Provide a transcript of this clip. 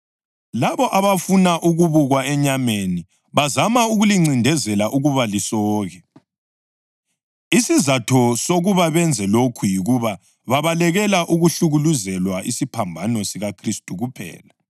Labo abafuna ukubukwa enyameni bazama ukulincindezela ukuba lisoke. Isizatho sokuba benze lokhu yikuba babalekele ukuhlukuluzelwa isiphambano sikaKhristu kuphela.